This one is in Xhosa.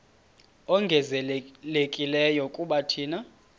ongezelelekileyo kuba thina